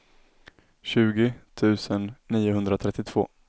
tjugo tusen niohundratrettiotvå